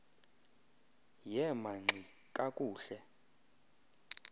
yema ngxi kakuhle